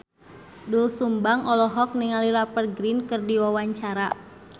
Doel Sumbang olohok ningali Rupert Grin keur diwawancara